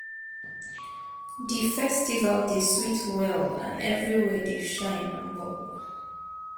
Di festival dey sweet well and everywhere dey shine and bubble.